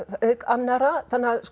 auk annarra